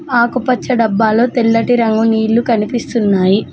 ఆకుపచ్చ డబ్బాలో తెల్లటి రంగు నీళ్ళు కనిపిస్తున్నాయి.